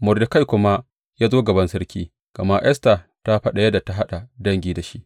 Mordekai kuma ya zo gaban sarki, gama Esta ta faɗa yadda ta haɗa dangi da shi.